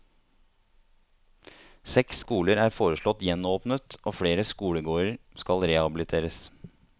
Seks skoler er foreslått gjenåpnet og flere skolegårder skal rehabiliteres.